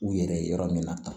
U yɛrɛ ye yɔrɔ min na tan